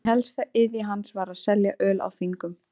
Ein helsta iðja hans var að selja öl á þingum.